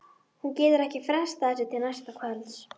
Hún getur ekki frestað þessu til næsta kvölds.